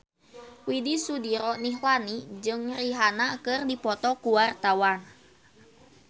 Widy Soediro Nichlany jeung Rihanna keur dipoto ku wartawan